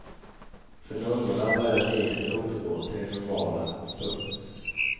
För nunnorna börjar livet återgå till det normala. punkt